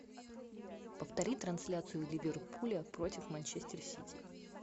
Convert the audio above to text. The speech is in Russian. повтори трансляцию ливерпуля против манчестер сити